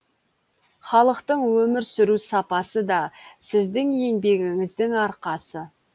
халықтың өмір сүру сапасы да сіздің еңбегіңіздің арқасы